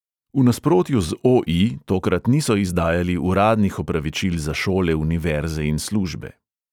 V nasprotju z o|i tokrat niso izdajali uradnih opravičil za šole, univerze in službe.